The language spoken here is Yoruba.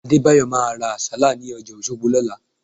Adébáyọ̀ máa ra Àsálà ní ọjà Òṣogbo lọ́la